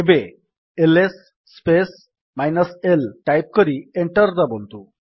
ଏବେ LS space l type କରି enter ଦାବନ୍ତୁ